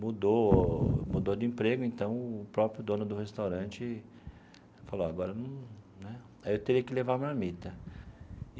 Mudou mudou de emprego, então o próprio dono do restaurante falou, agora num né aí eu teria que levar a marmita.